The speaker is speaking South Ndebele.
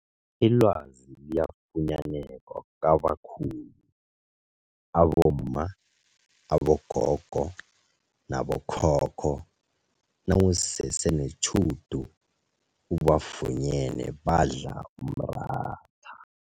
Ilwazi liyafunyaneka kwabakhulu abomma, abogogo nabo khokho nawusese netjhudu ubafunyene badla umratha.